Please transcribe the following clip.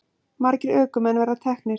Margir ökumenn verið teknir